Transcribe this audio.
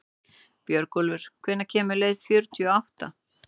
Björgólfur, hvenær kemur leið númer fjörutíu og átta?